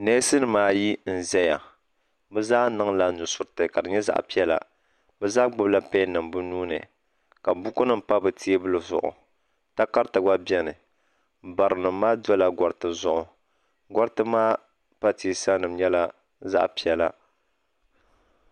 Nesnim ayi n zaya bɛ zaa niŋla nudiriti ka di nyɛ zaɣi piɛla. bɛ zaa gbubi la pen nim bɛ nuuni ka bukunima pa bɛ teebuli zuɣu. takari ti gba beni barinim maa dola gariti zuɣu. gariti maa pa teesanim nyɛla zaɣi piɛla.